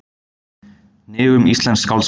Hnignun íslensks skáldskapar